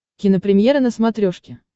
кинопремьера на смотрешке